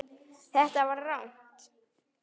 Þetta var rangt.